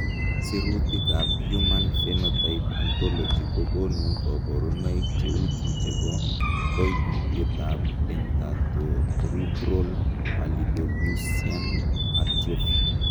Sirutikab Human Phenotype Ontology kokonu koborunoik cheuchu chebo koimutietab Dentatorubral pallidoluysian atrophy .